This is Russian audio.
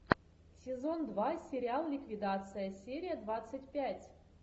сезон два сериал ликвидация серия двадцать пять